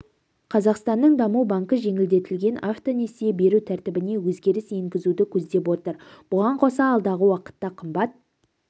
қазақстанның даму банкі жеңілдетілген автонесие беру тәртібіне өзгеріс енгізуді көздеп отыр бұған қоса алдағы уақытта қымбат